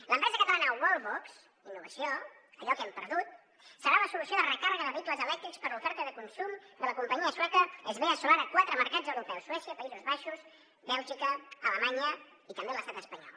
l’empresa catalana wallbox innovació allò que hem perdut serà la solució de recàrrega de vehicles elèctrics per a l’oferta de consum de la companyia sueca svea solar a quatre mercats europeus suècia països baixos bèlgica alemanya i també l’estat espanyol